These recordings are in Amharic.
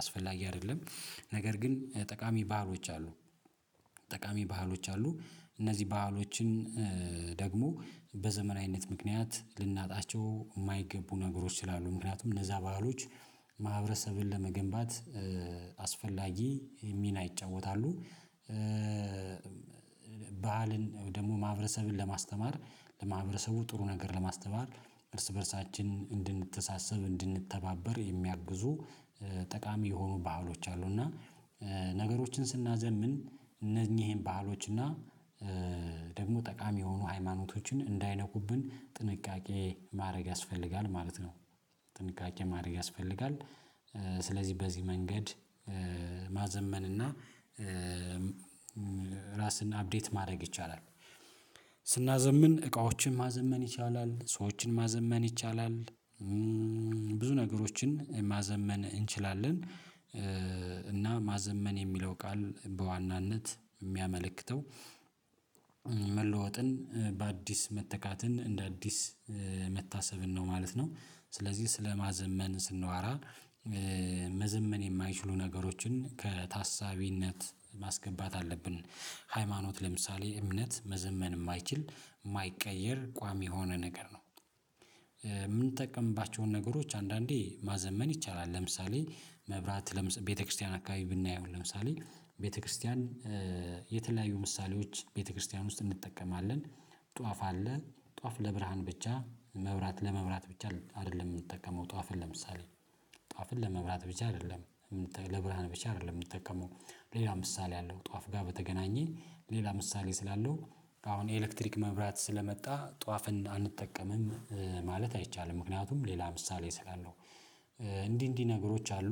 አስፈላጊ አይደለም ነገር ግን ጠቃሚ ባህሎች አሉ ጠቃሚ ባህሎች አሉ እነዚህ ባህሎችን ደግሞ በዘመናዊነት ምክንያት ልናጣቸው የማይገቡ ነገሮች ስላሉ ምክንያቱም እነዛ ባህሎች ማህበረሰብን ለመገንባት አስፈላጊ ሚና ይጫወታሉ ባልን ደግሞ ማህበረሰብን ለማስተማር ለማህበረሰቡ ጥሩ ነገር ለማስተማር እርስ በእርሳችን እንድንተሳሰብ እንድንተባበር የሚያግዙ ጠቃሚ የሆኑ ባህሎች አሉ እና ነገሮችን ስናዘምን እነኚህን ባህሎች እና ደግሞ ጠቃሚ የሆኑ ሃይማኖቶችን እንዳይነኩብን ጥንቃቄ ማድረግ ያስፈልጋል ማለት ነው ጥንቃቄ ማድረግ ያስፈልጋል፤ ስለዚህ በዚህ መንገድ ማዘመንና ራስን አፕዴት ማድረግ ይቻላል። ስናዘምን እቃዎችን ማዘመን ይቻላል፤ ሰዎችን ማዘመን ይቻላል፤ ነገሮችን ማዘመን እንችላለን እና ማዘመን የሚለው ቃል በዋናነት የሚያመለክተው መለወጥን በአዲስ መተካትን እንደ አዲስ መታሰብን ነው ማለት ነው ስለዚህ ስለማዘመን ስንዋራ መዘመን የማይችሉ ነገሮችን ከታሳቢነት ማስገባት አለብን፤ ሃይማኖት ለምሳሌ እምነት መዘመን የማይችል የማይቀየር ቋሚ የሆነ ነገር ነው የምንጠቀምባቸውን ነገሮች አንዳንዴ ማዘመን ይቻላል ለምሳሌ መብራት ለምሳሌ ቤተክርስቲያን አካባቢ ብናየው ለምሳሌ ቤተክርስቲያን የተለያዩ ምሳሌዎች ቤተክርስቲያን ውስጥ እንጠቀማለን፤ ጧፍ አለ ጧፍ ለብርሃን ብቻ መብራት ለመብራት ብቻ አይደለም የምንጠቀመው ጧፍን ለምሳሌ ጧፍን ለመብራት ብቻ አይደለም ለብርሃን ብቻ አይደለም የምንጠቀመው ሌላ ምሳሌ ያለው ጧፍ ጋር ሌላ ምሳሌ ስላለው አሁን የኤሌክትሪክ መብራት ስለመጣ ጧፍን አንጠቀምም ማለት አይቻልም ምክንያቱም ሌላ ምሳሌ ስላለው እንዲህ እንዲህ ነገሮች አሉ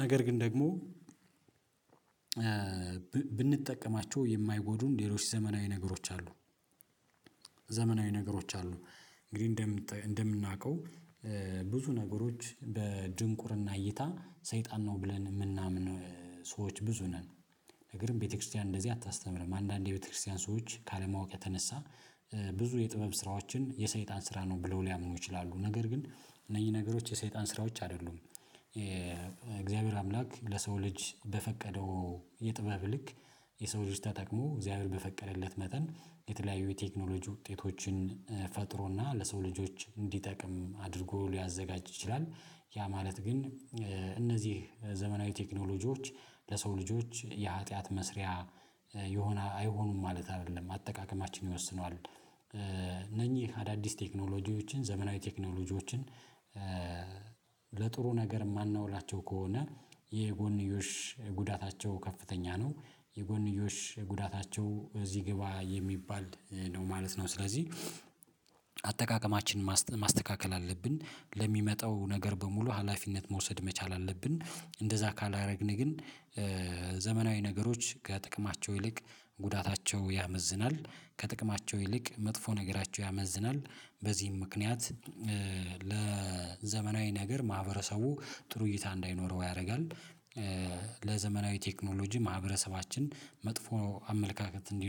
ነገር ግን ደግሞ ብንጠቀማቸው የማይጎዱን ሌሎች ዘመናዊ ነገሮች አሉ ዘመናዊ ነገሮች አሉ እንግዲህ እንደምናውቀው ብዙ ነገሮች በድንቁርና እይታ ሰይጣን ነው ብለን የምናምን ሰዎች ብዙ ነን ነገር ግን ቤተክርስቲያን እንደዚህ አታስተምርም አንዳንዴ ቤተክርስቲያን ሰዎች ካለማወቅ የተነሳ ብዙ የጥበብ ስራዎችን የሰይጣን ስራ ነው ብለው ሊያምኑ ይችላሉ ነገር ግን እነኚህ ነገሮች የሰይጣን ስራዎች አይደሉም የእግዚአብሔር አምላክ ለሰው ልጅ በፈቀደው የጥበብ ልክ የሰው ልጅ ተጠቅሞ እግዚአብሔር በፈቀደለት መጠን የተለያዩ የቴክኖሎጂ ውጤቶችን ፈጥሮና ለሰው ልጆች እንዲጠቅም አድርጎ ሊያዘጋጅ ይችላል ያ ማለት ግን እነዚህ ዘመናዊ ቴክኖሎጂዎች ለሰው ልጆች የሀጥያት መስሪያ የሆነ አይሆኑም ማለት አይደለም አጠቃቀማችን ይወስነዋል፤ እነኚህ አዳዲስ ቴክኖሎጂዎችን ዘመናዊ ቴክኖሎጂዎችን ለጥሩ ነገር የማናውላቸው ከሆነ የጎንዮሽ ጉዳታቸው ከፍተኛ ነው የጎንዮሽ ጉዳታቸው እዚህ ግባ የሚባል ነው ማለት ነው ስለዚህ አጠቃቀማችንን ማስተካከል አለብን ለሚመጣው ነገር በሙሉ ሀላፊነት መውሰድ መቻል አለብን እንደዛ ካላደረግን ግን ዘመናዊ ነገሮች ከጥቅማቸው ይልቅ ጉዳታቸው ያመዝናል ከጥቅማቸው ይልቅ መጥፎ ነገራቸው ያመዝናል በዚህም ምክንያት ለዘመናዊ ነገር ማህበረሰቡ ጥሩ እይታ እንዳይኖረው ያደርጋል ለዘመናዊ ቴክኖሎጂ ማህበረሰባችን መጥፎ አመለካከት እንዲኖር